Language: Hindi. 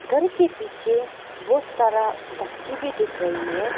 घर के पीछे बहोत सारा गच्ची भी दिख रही है।